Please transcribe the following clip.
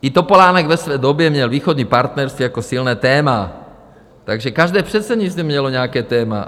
I Topolánek ve své době měl Východní partnerství jako silné téma, takže každé předsednictví mělo nějaké téma.